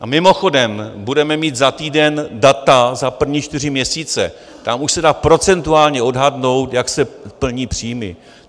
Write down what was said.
A mimochodem, budeme mít za týden data za první čtyři měsíce, tam už se dá procentuálně odhadnout, jak se plní příjmy.